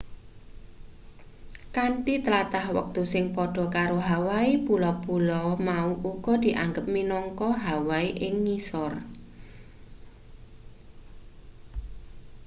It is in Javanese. kanthi tlatah wektu sing padha karo hawaii pulo-pulo mau uga dianggep minangka hawaii ing ngisor